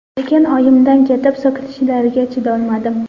Lekin oyimdan ketib so‘kinishlariga chidolmadim.